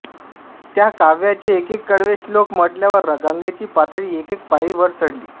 त्या काव्याचे एकेक कडवे श्लोक म्हटल्यावर गंगेची पातळी एकेक पायरी वर चढली